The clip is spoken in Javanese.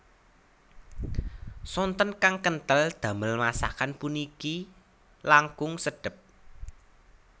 Santen kang kentel damel masakan puniki langkung sedep